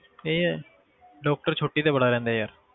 ਇਹ ਹੈ doctor ਛੁੱਟੀ ਤੇ ਬੜਾ ਰਹਿੰਦਾ ਆ ਯਾਰ